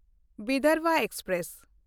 Vidarbha express